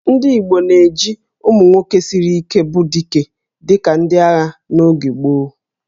Ndị Igbo na-eji ụmụ nwoke siri Ike bụ 'Dike' dịka ndị agha n'oge gboo